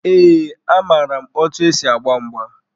Ee, amaara m otu esi agba mgba.